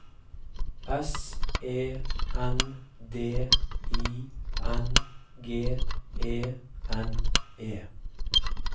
S E N D I N G E N E